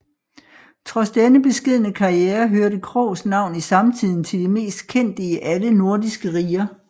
Trods denne beskedne karriere hørte Kroghs navn i samtiden til de mest kendte i alle nordiske riger